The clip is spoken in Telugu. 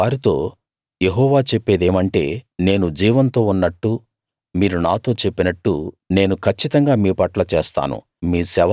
నువ్వు వారితో యెహోవా చెప్పేదేమంటే నేను జీవంతో ఉన్నట్టు మీరు నాతో చెప్పినట్టు నేను కచ్చితంగా మీపట్ల చేస్తాను